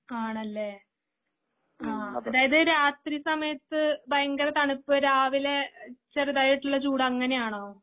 ആണല്ലേ? ആ അതായത് രാത്രി സമയത്ത് ഭയങ്കര തണുപ്പ് രാവിലെ ചെറുതായിട്ടുള്ള ചൂട് അങ്ങനെയാണോ?